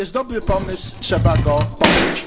To jest dobry pomysł i trzeba go poprzeć.